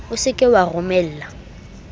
o se ke wa romella